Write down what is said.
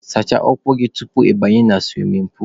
Sachaa ụkwụ gị tupu ị banye na suwimin puulu!.